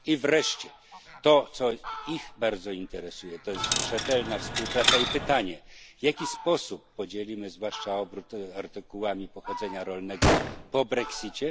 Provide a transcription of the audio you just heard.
I wreszcie to, co ich bardzo interesuje, to jest rzetelna współpraca i pytanie w jaki sposób podzielimy, zwłaszcza obrót artykułami pochodzenia rolnego, po brexicie.